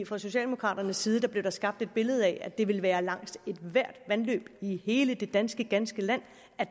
fra socialdemokraternes side blev der skabt et billede af at det ville være langs ethvert vandløb i hele det ganske danske land